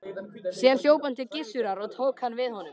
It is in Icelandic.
Síðan hljóp hann til Gissurar og tók hann við honum.